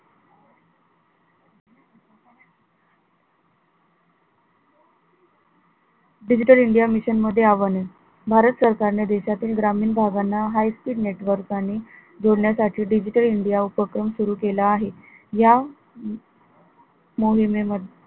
digital india mission मध्ये आवेदन भारत सरकारने देशातील ग्रामीण भागांना high speed network आणि जोडण्यासाठी digital india उपक्रम सुरु केला आहे या मोहिमेमध्ये